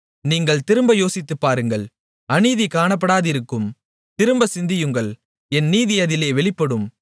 நீங்கள் திரும்ப யோசித்து பாருங்கள் அநீதி காணப்படாதிருக்கும் திரும்ப சிந்தியுங்கள் என் நீதி அதிலே வெளிப்படும்